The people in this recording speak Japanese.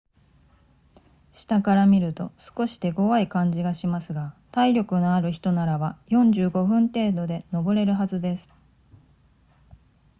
下から見ると少し手ごわい感じがしますが体力のある人ならば45分程度で登れるはずです